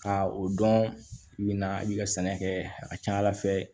Ka o dɔn i bɛ na i ka sɛnɛ kɛ a ka ca ala fɛ